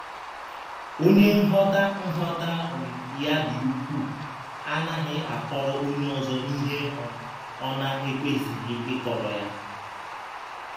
“ Ọnye nghọta nghọta um ya dị ụkwụụ ” anaghị akọrọ ọnye ọzọ ihe um ọ na - um ekwesịghị ịkọrọ ya.